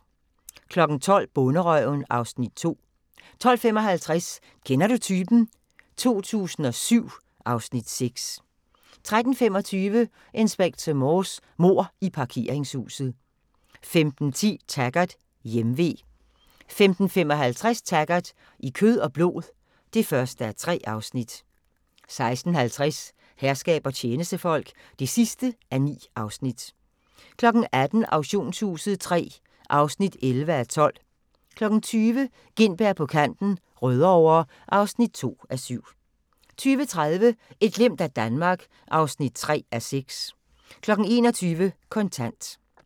12:00: Bonderøven (Afs. 2) 12:55: Kender du typen? 2007 (Afs. 6) 13:25: Inspector Morse: Mord i parkeringshuset 15:10: Taggart: Hjemve 15:55: Taggart: I kød og blod (1:3) 16:50: Herskab og tjenestefolk (9:9) 18:00: Auktionshuset III (11:12) 20:00: Gintberg på kanten - Rødovre (2:7) 20:30: Et glimt af Danmark (3:6) 21:00: Kontant